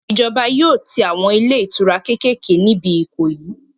Ìjọba yóò tí àwọn ilé ìtura kékèké níbi Ìkòyí